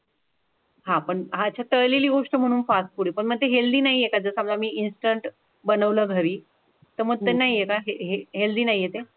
आह अछा तळलेली गोष्ट म्हणूनच फास्ट फूड हे पण म्हणजे हेल्दी नाहीये का, जर समजा मी ईनस्टेंट बनवलं घरी तर मग नाही येत आहे हेल्दी नाही ते?